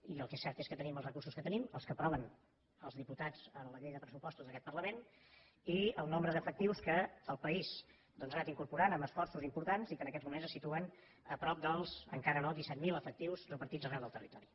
i el que és cert és que tenim els recursos que tenim els que aproven els diputats en la llei de pressupostos d’aquest parlament i el nombre d’efectius que el país doncs ha anat incorporant amb esforços importants i que en aquests moments se situen a prop dels encara no disset mil efectius repartits arreu del territori